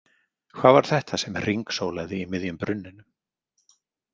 Hvað var þetta sem hringsólaði í miðjum brunninum?